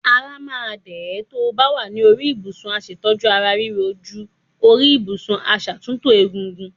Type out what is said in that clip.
Ara máa dẹ̀ ẹ́ tó ba wà ní orí ìbùsùn aṣètọ́jú ara riro jú orí ìbùsùn aṣàtúntò ègungun.